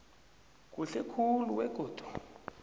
kuhle khulu begodu